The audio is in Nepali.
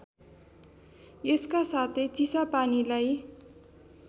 यसका साथै चिसापानीलाई